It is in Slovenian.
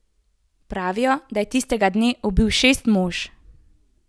Pravijo, da je tistega dne ubil šest mož.